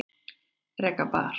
Reka bar